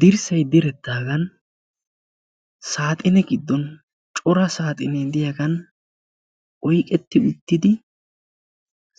dirssay direttaagan saaxine giddon cora saaxinee diyaagan oiqetti uttidi